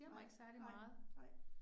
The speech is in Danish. Nej, nej, nej